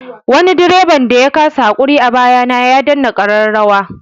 Wani direban da ya kasa haƙuri a baya na ya danna ƙararrawa.